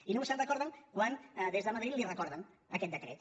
i només se’n recorden quan des de madrid li recorden aquest decret